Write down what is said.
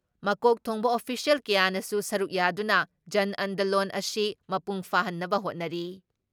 ꯃꯀꯣꯛ ꯊꯣꯡꯕ ꯑꯣꯐꯤꯁꯤꯌꯦꯜ ꯀꯌꯥꯅꯁꯨ ꯁꯔꯨꯛ ꯌꯥꯗꯨꯅ ꯖꯟꯑꯟꯗꯂꯣꯟ ꯑꯁꯤ ꯃꯄꯨꯡ ꯐꯥꯍꯟꯅꯕ ꯍꯣꯠꯅꯔꯤ ꯫